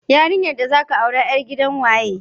Yarinyar da zaka aura yar gidan waye?